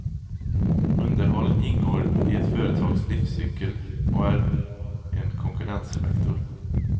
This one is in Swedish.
Underhåll ingår i ett företags livscykel och är en konkurrensfaktor.